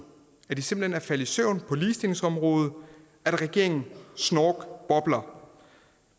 at den simpelt hen er faldet i søvn på ligestillingsområdet at regeringen snorkbobler